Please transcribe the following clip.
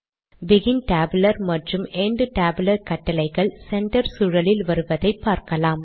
begin tabular மற்றும் end tabular கட்டளைகள் centre சூழலில் வருவதை பார்கலாம்